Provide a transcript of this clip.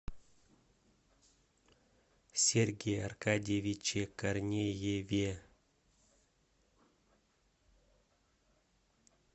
сергее аркадьевиче корнееве